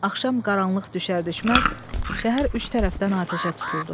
Axşam qaranlıq düşər-düşməz şəhər üç tərəfdən atəşə tutuldu.